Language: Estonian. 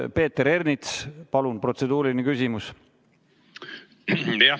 Peeter Ernits, palun, protseduuriline küsimus!